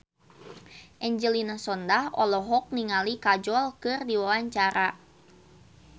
Angelina Sondakh olohok ningali Kajol keur diwawancara